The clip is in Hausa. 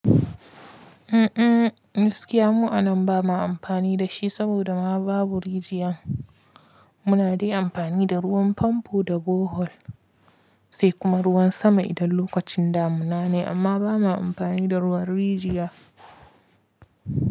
Mm mm, gaskiya mu a nan ba ma amfani da shi saboda ma babu rijiyan. Mu na dai amfani da ruwan famfo da bohol sai kuma ruwan sama idan lokacin damuna ne amma ba ma amfani da ruwan rijiya.